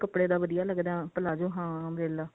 ਕੱਪੜੇ ਦਾ ਵਧੀਆਂ ਲੱਗਦਾ palazzo ਹਾਂ umbrella